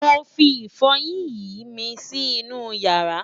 mọ fí ifoyin yín mí Si inú yaara